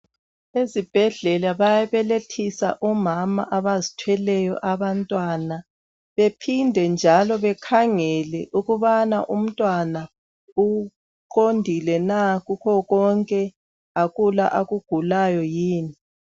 Ezibhedlela bayabelethisa omama abazithelweyo abantwana, bephinde njalo bekhangele ukubana untwana uqondilena kukho konke, akula akugulayo yini.